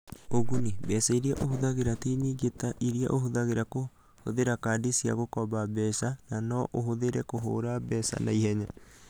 Ũguni: Mbeca iria ũhũthagĩra ti nyingĩ ta iria ũhũthagĩra kũhũthĩra kadi cia gũkomba mbeca, na no ũhũthĩre kũhũra mbeca na ihenya.